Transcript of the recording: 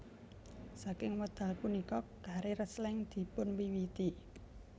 Saking wekdal punika karier Slank dipunwiwiti